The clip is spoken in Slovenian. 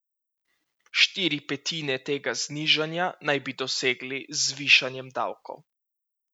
Štiri petine tega znižanja naj bi dosegli z zvišanjem davkov.